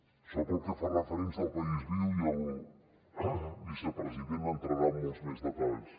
això pel que fa referència al país viu i el vicepresident entrarà en molts més detalls